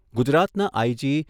ગુજરાતના આઈજી